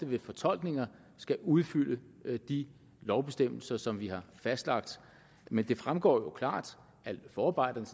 ved fortolkninger skal udfylde de lovbestemmelser som vi har fastlagt men det fremgår jo klart af forarbejderne